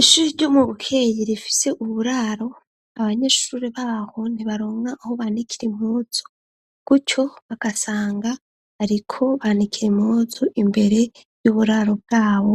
Ishushi ryo mu bukeyi rifise uburaro abanyeshuri baho ntibaronwa aho banikire imuzu gutyo bagasanga, ariko banikira imuzu imbere y'uburaro bwabo,